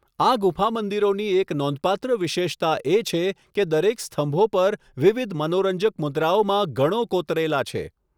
આ ગુફા મંદિરોની એક નોંધપાત્ર વિશેષતા એ છે કે દરેક સ્તંભો પર વિવિધ મનોરંજક મુદ્રાઓમાં ગણો કોતરેલા છે.